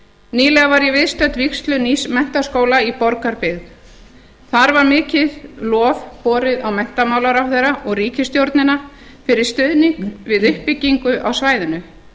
nýlega var ég viðstödd vígslu nýs menntaskóla í borgarbyggð þar var mikið lof borið á menntamálaráðherra og ríkisstjórnina fyrir stuðning við uppbyggingu á svæðinu